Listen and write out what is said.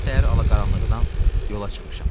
Mən səhər alaqaranlıqdan yola çıxmışam.